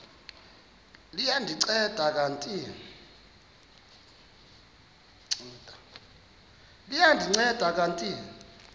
liya ndinceda kanti